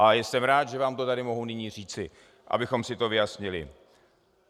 A jsem rád, že vám to tady mohu nyní říci, abychom si to vyjasnili.